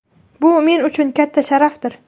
Bu men uchun katta sharafdir.